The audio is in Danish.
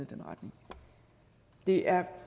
den retning det er